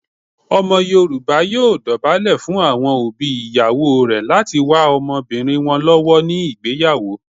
Omo yoruba yoo dobale fun awon obi iyawo re lati wa omobirin won lowo ni igbeyawo.